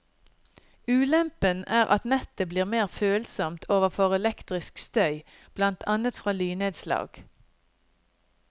Ulempen er at nettet blir mer følsomt overfor elektrisk støy, blant annet fra lynnedslag.